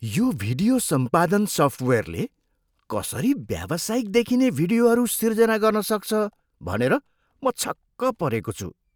यो भिडियो सम्पादन सफ्टवेयरले कसरी व्यावसायिक देखिने भिडियोहरू सिर्जना गर्न सक्छ भनेर म छक्क परेको छु।